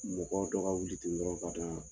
Mɔgɔ dɔ ka wuli ten dɔrɔnw ka don yan.